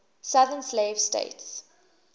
southern slave states